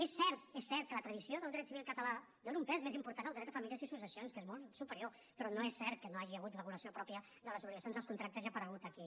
és cert és cert que la tradició del dret civil català dóna un pes més important al dret de família i successions que és molt superior però no és cert que no hi hagi hagut regulació pròpia de les obligacions dels contractes i ha aparegut aquí